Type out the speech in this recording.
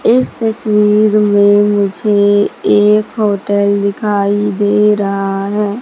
इस तस्वीर में मुझे एक होटल दिखाई दे रहा है।